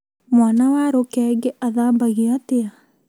Mwana wa rũkenge athambagio atĩa?